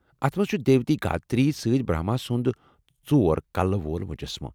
اتھ منٛز چُھ دیوی گایتری سۭتۍ برہما سُنٛد ژور کلہٕ وول مُجسمہٕ ۔